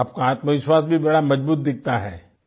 आपका आत्मविश्वास भी बड़ा मजबूत दिखता है